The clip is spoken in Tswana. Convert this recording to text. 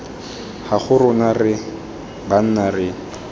gago rona re banna re